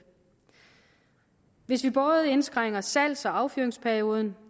hvis vi både indskrænker salgs og affyringsperioden